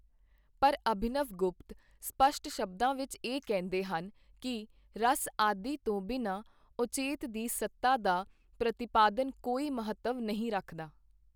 ਪਰ ਅਭਿਨਵ ਗੁਪਤ ਸਪਸ਼ਟ ਸ਼ਬਦਾਂ ਵਿੱਚ ਇਹ ਕਹਿੰਦੇ ਹਨ ਕਿ, ਰਸ ਆਦਿ ਤੋਂ ਬਿਨਾ ਔਚਿਤ ਦੀ ਸੱਤਾ ਦਾ ਪ੍ਰਤੀਪਾਦਨ ਕੋਈ ਮਹੱਤਵ ਨਹੀਂ ਰੱਖਦਾ।